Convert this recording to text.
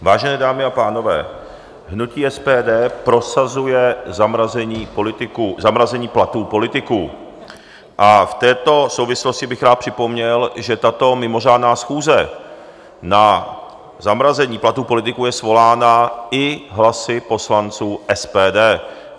Vážené dámy a pánové, hnutí SPD prosazuje zamrazení platů politiků a v této souvislosti bych rád připomněl, že tato mimořádná schůze na zamrazení platů politiků je svolána i hlasy poslanců SPD.